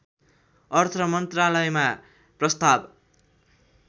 अर्थमन्त्रालयमा प्रस्ताव